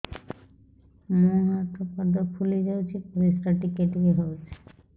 ମୁହଁ ହାତ ପାଦ ଫୁଲି ଯାଉଛି ପରିସ୍ରା ଟିକେ ଟିକେ ହଉଛି